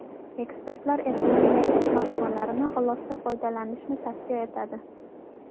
Ekspertlar Apple’ning yangi smartfonlarini g‘ilofda foydalanishni tavsiya etadi.